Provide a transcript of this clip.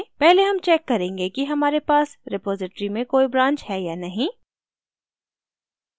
पहले हम check करेंगे कि हमारे पास रिपॉज़िटरी में कोई branch है या नहीं